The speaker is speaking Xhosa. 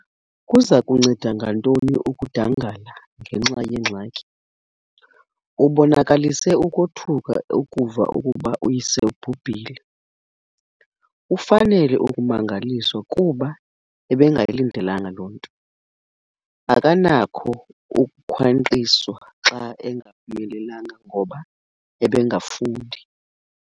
Kuza kunceda ngantoni ukudangala ngenxa yeengxaki. Ubonakalise ukothuka akuva ukuba uyise ubhubhile, ufanele ukumangaliswa kuba ebengayilidelanga loo nto, akanakho ukukhwankqiswa xa engaphumelelanga ngoba ebengafundi.